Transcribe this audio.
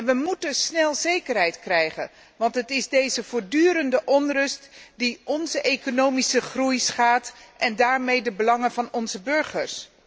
We moeten snel zekerheid krijgen, want het is deze voortdurende onrust die onze economische groei schaadt en daarmee de belangen van onze burgers.